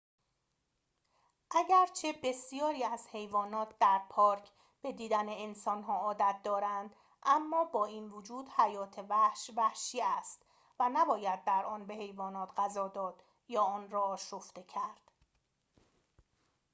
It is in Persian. اگرچه بسیاری از حیوانات در پارک به دیدن انسان‌ها عادت دارند اما با این وجود حیات وحش وحشی است و نباید در آن به حیوانات غذا داد یا آن را آشفته کرد